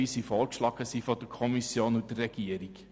Wird das Wort von weiteren Fraktionssprechern gewünscht?